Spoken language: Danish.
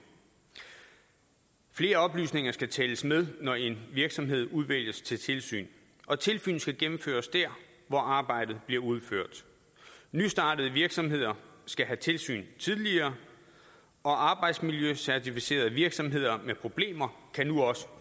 flere oplysninger skal tælles med når en virksomhed udvælges til tilsyn og tilsyn skal gennemføres dér hvor arbejdet bliver udført nystartede virksomheder skal have tilsyn tidligere og arbejdsmiljøcertificerede virksomheder med problemer kan nu også